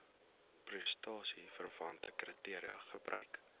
prestasieverwante kriteria gebruik